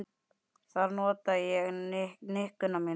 Þar nota ég nikkuna mikið.